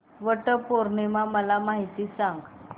वट पौर्णिमा मला सांग